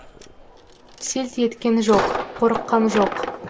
селт еткен жоқ қорыққан жоқ